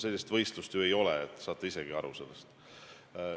Sellist võistlust ju ei ole, te saate isegi sellest aru.